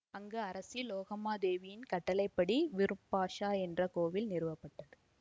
அங்கு அரசி லோகமாதேவியின் கட்டளை படி விருப்பாஷா என்ற கோவில் நிறுவப்பட்டது